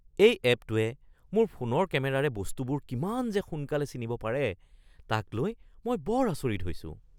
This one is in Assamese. এই এপটোৱে মোৰ ফোনৰ কেমেৰাৰে বস্তুবোৰ কিমান যে সোনকালে চিনিব পাৰে তাক লৈ মই বৰ আচৰিত হৈছোঁ।